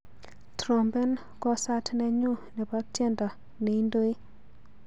Trompen kwosat nenyu nebo tyendo neindoi.